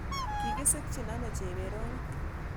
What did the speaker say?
Kigisikchin ano Chebet Rono